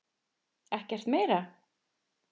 Ekkert meira?